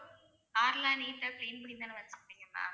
car லாம் neat ஆ clean பண்ணிதான ma'am கொடுப்பீங்க ma'am